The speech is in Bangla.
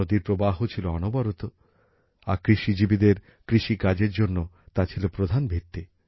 নদীতে যথেষ্ট জলপ্রবাহ ছিল আর কৃষিজীবীদের কৃষি কাজের জন্য তা ছিল প্রধান ভিত্তি